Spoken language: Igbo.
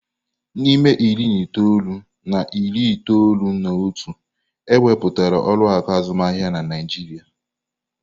N'ime iri na itoolu na iri itoolu na otu, ewebata ụlọ akụ azụmaahịa na Naịjirịa.